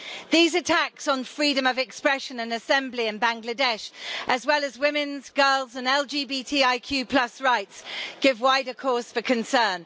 These attacks on freedom of expression and assembly in Bangladesh, as well as women's, girls and LGBTIQ rights give wider cause for concern.